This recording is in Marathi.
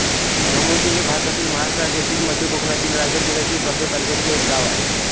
धमोते हे भारतातील महाराष्ट्र राज्यातील मध्य कोकणातील रायगड जिल्ह्यातील कर्जत तालुक्यातील एक गाव आहे